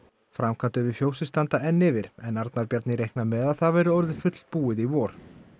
framkvæmdir við fjósið standa enn yfir en Arnar Bjarni reiknar með að það verði orðið fullbúið í vor